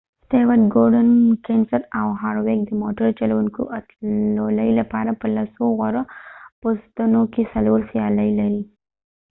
سټيوارټ ګورډن کینسنت او هارویک د موټر چلوونکو اتلولۍ لپاره په لسو غوره پوستونو کې څلور سیالۍ لري